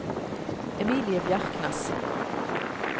Emilie Bjerknes